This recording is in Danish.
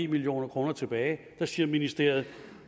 million kroner tilbage og der siger ministeriet